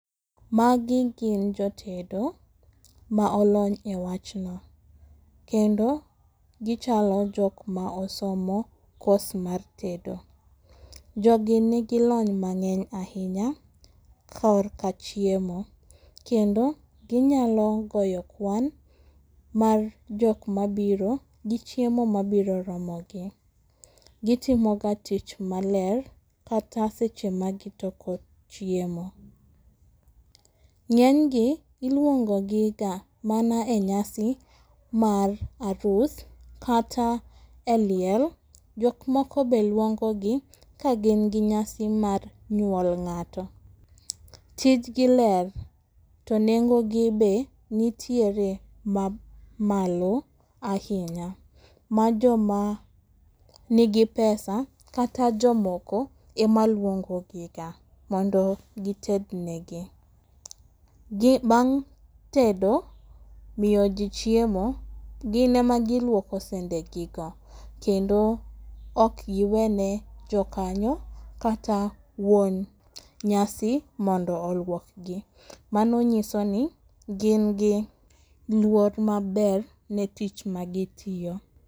Magi gin jotedo ma olony ewachno. Kendo gichalo jok ma osomo kos mar tedo. Jogi nigi lony mang'eny ahinya korka chiemo kendo ginyalo goyo kwan mar jok mabiro gichiemo mabiro romogi. Gitimoga tich maler kata seche magitoko chiemo.Ng'enygi iluongogiga mana enyasi mar arus kata eliel. Jok moko be luongogi ka gin gi nyasi mar nyuol ng'ato. Tijgi ler to nengogi be nitiere mamalo ahinya ma joma nigi pesa kata jomoko ema luongogiga mondo gi tednegi. Bang' tedo miyo ji chiemo gin ema giluoko sendegigo kendo ok gi wene jo kanyo kata wuon nyasi mondo oluokgi. Mano nyisoni gin giluor maber ne tich magi tiyo.